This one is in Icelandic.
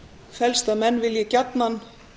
felst að menn vilji gjarnan